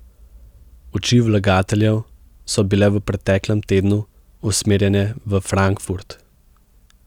Oči vlagateljev so bile v preteklem tednu usmerjene v Frankfurt.